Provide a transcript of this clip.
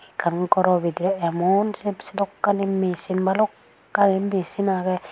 Ekkan gor bidore emon sedokkani machine balokkani machine agey.